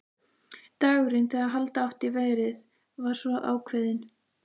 Dagurinn, þegar halda átti í verið, var svo ákveðinn.